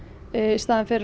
staðinn fyrir